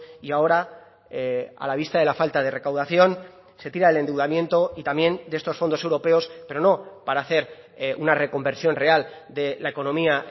y ahora a la vista de la falta de recaudación se tira el endeudamiento y también de estos fondos europeos pero no para hacer una reconversión real de la economía